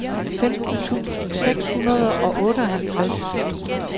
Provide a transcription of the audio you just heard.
femten tusind seks hundrede og otteoghalvtreds